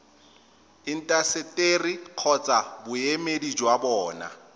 intaseteri kgotsa boemedi jwa bona